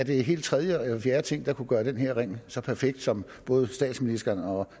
helt tredje eller fjerde ting der kunne gøre den her ring så perfekt som både statsministeren og